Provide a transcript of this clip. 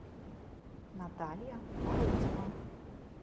наталья морозова